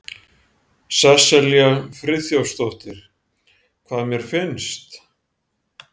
Sesselja Friðþjófsdóttir: Hvað mér finnst?